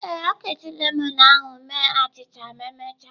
Ee, ọ ga-eji lemon ahu mee achịcha ma emechaa.